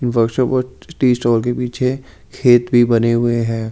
Workshop और tea stall के पीछे खेत भी बने हुए हैं।